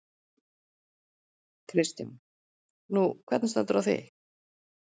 Kristján: Nú, hvernig stendur á því?